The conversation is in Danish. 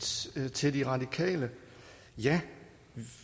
sige til de radikale ja